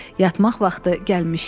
Yatmaq vaxtı gəlmişdi.